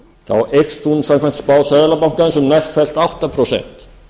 þá eykst hún samkvæmt spá seðlabankans um nærfellt átta prósent